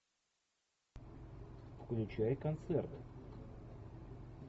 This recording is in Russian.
включай концерт